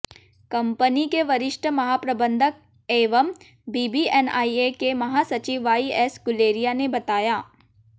company के वरिष्ठ महाप्रबंधक एवं बीबीएनआईए के महासचिव वाईएस गुलेरिया ने बताया